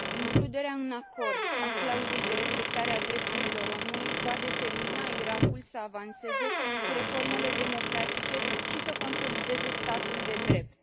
Includerea în acord a clauzei de respectare a drepturilor omului va determina Irakul să avanseze cu reformele democratice și să consolideze statul de drept.